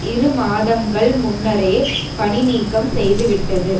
இரு மாதங்கள் முன்னரே பணி நீக்கம் செய்துவிட்டது